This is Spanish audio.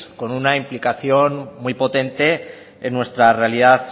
con una implicación muy potente en nuestra realidad